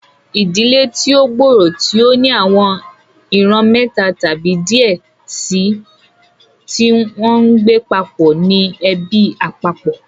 ìdílé tí o gbòòrò, tí o ní àwọn ìran méta tàbí diẹ síi tí ngbé papó ní ẹbí àpapọ.